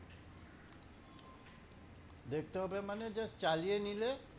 দেখতে হবে মানে just চালিয়ে নিলে